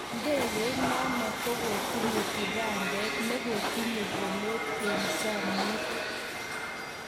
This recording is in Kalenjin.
Ndegeit nano kokotinye kibandet nekotinye polet eng chamiet.